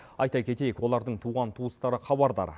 айта кетейік олардың туған туыстары хабардар